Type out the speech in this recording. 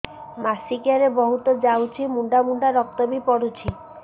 ମାସିକିଆ ରେ ବହୁତ ଯାଉଛି ମୁଣ୍ଡା ମୁଣ୍ଡା ରକ୍ତ ବି ପଡୁଛି